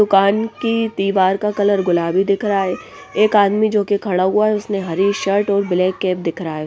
दुकान की दीवार का कलर गुलाबी दिख रहा हैं एक आदमी जो कि खड़ा हुआ हैं उसने हरी शर्ट और ब्लैक कैप दिख रहा हैं ।